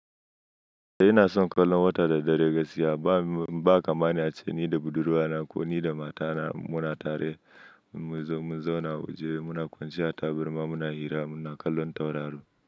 Eh ina son kallon wata da dare gasiya ba, ba kamani ace ni da budurwa na ko ni da mata na muna tare mun zauna waje muna kwanciya tabarma muna hira muna kallon tauraro.